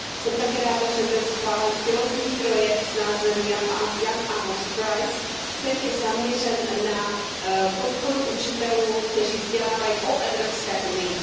Jsem také ráda, že byl schválen pilotní projekt s názvem Jan Ámos Price, který je zaměřen na podporu učitelů, kteří vzdělávají o Evropské unii.